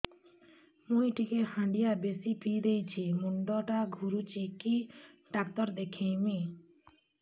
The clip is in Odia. ମୁଇ ଟିକେ ହାଣ୍ଡିଆ ବେଶି ପିଇ ଦେଇଛି ମୁଣ୍ଡ ଟା ଘୁରୁଚି କି ଡାକ୍ତର ଦେଖେଇମି